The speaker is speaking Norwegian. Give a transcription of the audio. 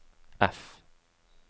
F